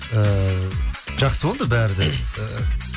ыыы жақсы болды бәрі де